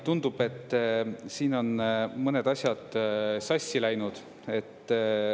Tundub, et siin on mõned asjad sassi läinud.